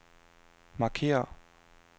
markér